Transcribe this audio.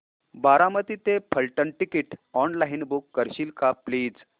बारामती ते Phaltan ticket online book करशील का प्लीज